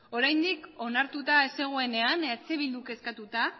oraindik onartuta ez zegoenean eh bilduk eskatuta